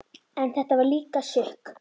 En þetta var líka sukk.